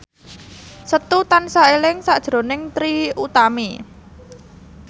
Setu tansah eling sakjroning Trie Utami